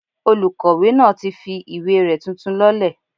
Olùkọ̀wé náà ti fi ìwé rẹ̀ tuntun lọ́lẹ̀